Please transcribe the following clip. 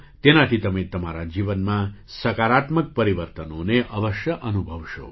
તેનાથી તમે તમારા જીવનમાં સકારાત્મક પરિવર્તનોને અવશ્ય અનુભવશો